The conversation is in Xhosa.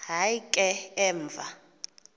hayi ke emva